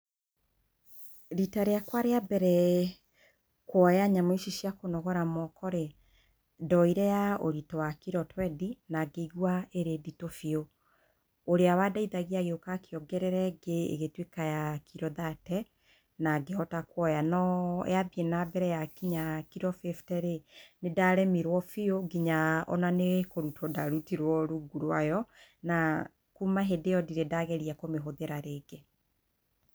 Riita rĩakwa rĩa mbere kũoya nyamũ ici cia kũnogora moko rĩ, ndoire ya ũritũ wa kiro twendi, na ngĩigwa ĩrĩ nditũ biũ. Ũrĩa wa ndeithagia agĩũka akĩongerera ĩngĩ ĩgĩtuĩka ya kiro thate, na ngĩhota kuoya. No yathiĩ na mbere ya kinya kiro fĩfte rĩ, nĩ ndaremirwo biũ, nginya ona nĩ kũrutwo ndarutirwo rungu rwa yo, na kuma hĩndĩ ĩyo ndirĩ ndageria kũmĩhũthĩra rĩngĩ.